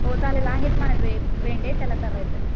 हो चालेल आहेत माझे फ्रेंड आहे त्याला करायचं आहे.